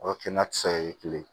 O ye kɛnɛkisɛ ye kelen